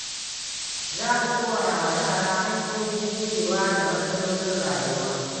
Za mu koya wa yara hanyoyin jurewa da matsalolin rayuwa.